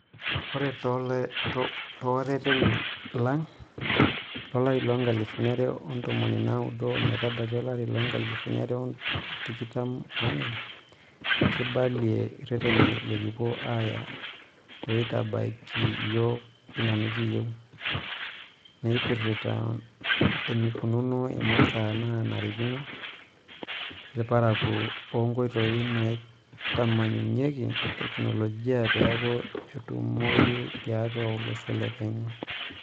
Oree tooreteni lang lo lari loonkalifuni are o tomon onaudo ometabaiki olari loonkalifuni are otikitam oonguan, kibalia ireteni lekipuo aaya loitabaiki iyiook ina nekiyieu, naipirita enikununo imasaa naanarikino ilparakuo oonkoitoi naitamanyuyiaki tekinoloji peekuo etumoyu tiatu olosho lekenya.